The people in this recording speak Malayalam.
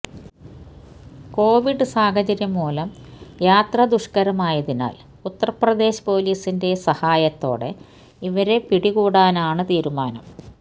കൊവിഡ് സാഹചര്യം മൂലം യാത്ര ദുഷ്കരമായതിനാല് ഉത്തര്പ്രദേശ് പൊലീസിന്റെ സഹായത്തോടെ ഇവരെ പിടികൂടാനാണ് തീരുമാനം